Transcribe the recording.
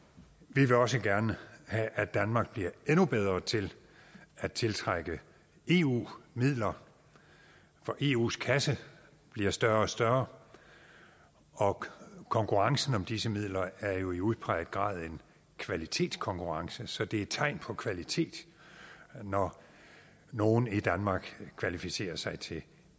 vi vil også gerne have at danmark bliver endnu bedre til at tiltrække eu midler for eus kasse bliver større og større og konkurrencen om disse midler er jo i udpræget grad en kvalitetskonkurrence så det er tegn på kvalitet når nogen i danmark kvalificerer sig til